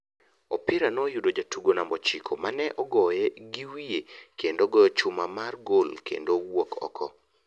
Opira no yudo jatugo namba ochiko mane ogoye gi wiye kendo ogoyo chuma mar gol kendo owuok oko.